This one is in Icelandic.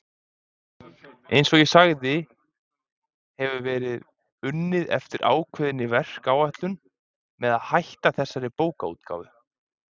Eins og ég sagði hefur verið unnið eftir ákveðinni verkáætlun með að hætta þessari bókaútgáfu.